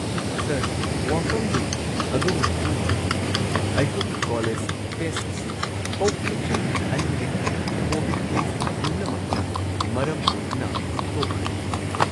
Sir, ꯋꯥꯐꯝꯗꯤ, ꯑꯗꯣꯝꯅ ꯈꯪꯂꯤꯕꯗꯨꯅꯤ ꯑꯩꯈꯣꯏꯒꯤ ꯀꯣꯂꯦꯖ ꯐꯦꯁꯠ ꯑꯁꯤ ꯍꯧꯈꯤꯕ ꯆꯍꯤ ꯲ꯗꯒꯤ ꯀꯣꯕꯤꯗ ꯀꯦꯁ ꯄꯨꯝꯅꯃꯛꯅ ꯃꯔꯝ ꯑꯣꯏꯗꯨꯅ ꯇꯣꯛꯈ꯭ꯔꯦ꯫